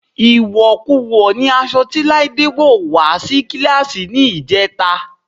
Ìwọ̀kuwọ̀ ni aṣọ tí Láídé wọ́ wà á sí kíláàsì ní ìjẹta